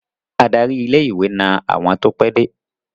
Adarí ilé-ìwé na àwọn tó pẹ́de.